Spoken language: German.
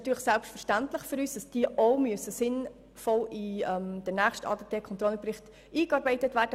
Selbstverständlich müssen diese sinnvoll in den nächsten ADT-Controlling-Bericht eingearbeitet werden.